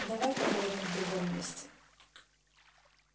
давай поговорим в другом месте